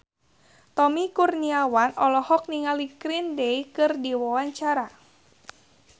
Tommy Kurniawan olohok ningali Green Day keur diwawancara